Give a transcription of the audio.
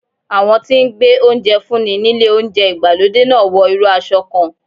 Àwọn tí ń gbé oúnjẹ fún ni nílé ìjẹun ìgbàlódé náà wọ irú aṣọ kan.